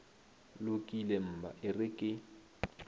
lokile mma e re ke